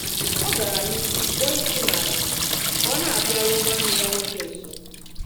Ọ̀ gara n'ihu kpọọ isi n'ala kà ọ na-abịàru nwanne yà nwoke nso.